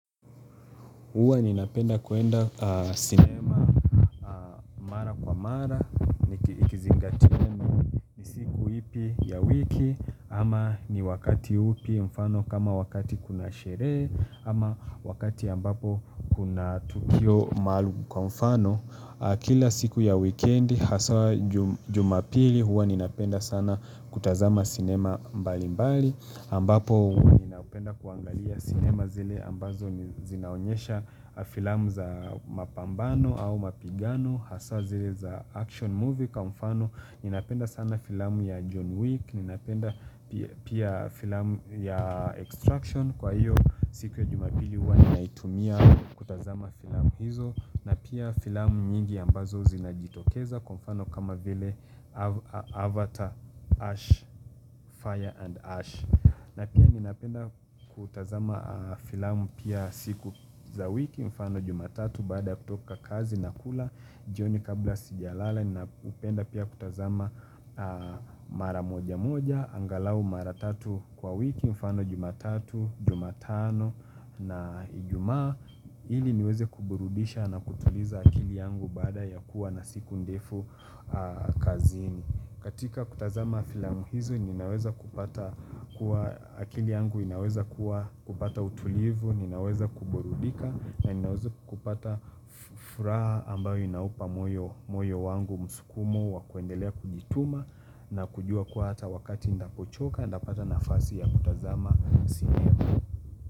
Huwa ninapenda kuenda sinema mara kwa mara, ikizingatimu siku ipi ya wiki, ama ni wakati upi mfano kama wakati kuna sherehe, ama wakati ambapo kuna tukio maalu kwa mfano. Kila siku ya wikendi hasa jumapili huwa ninapenda sana kutazama sinema mbali mbali ambapo ninapenda kuangalia sinema zile ambazo zinaonyesha filamu za mapambano au mapigano Hasa zile za action movie kwa mfano ninapenda sana filamu ya John Wick Ninapenda pia filamu ya Extraction kwa hiyo siku ya jumapili huwa ninaitumia kutazama filamu hizo na pia filamu nyingi ambazo zinajitokeza kwa mfano kama vile Avatar, Ash, Fire and Ash na pia ninapenda kutazama filamu pia siku za wiki mfano jumatatu baada ya kutoka kazi na kula jioni kabla sijalala ninapenda pia kutazama mara moja moja angalau mara tatu kwa wiki mfano jumatatu, jumatano na Ijumaa ili niweze kuburudisha na kutuliza akili yangu baada ya kuwa na siku ndefu kazini katika kutazama filamu hizo, ninaweza kupata kuwa akili yangu inaweza kuwa kupata utulivu, inaweza kuburudika na inaweza kupata furaha ambayo inaupa moyo wangu musukumo wa kuendelea kujituma na kujua kuwa hata wakati nitaapochoka, nitapata na fasi ya kutazama sinema.